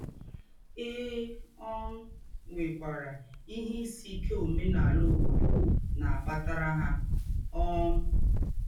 É um nwèkwàrà ìhè ìsì íké òmènàlà ǒbòdò na - àkpàtàrà hà. um